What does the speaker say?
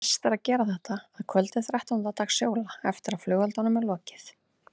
Best er að gera þetta að kvöldi þrettánda dags jóla eftir að flugeldum er lokið.